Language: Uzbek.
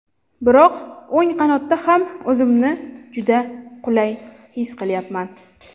Biroq o‘ng qanotda ham o‘zimni juda qulay his qilyapman.